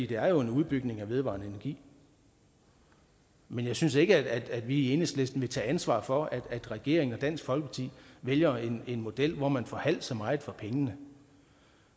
det er jo en udbygning af vedvarende energi men jeg synes ikke at vi i enhedslisten vil tage ansvar for at regeringen og dansk folkeparti vælger en model hvor man får halvt så meget for pengene